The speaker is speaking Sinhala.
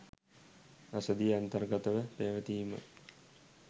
රසදිය අන්තර්ගතව පැවතීමයි.